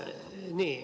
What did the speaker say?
Nii.